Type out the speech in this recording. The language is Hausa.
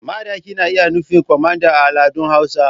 Madaki na iya nufin kwamanda a al'adun hausa.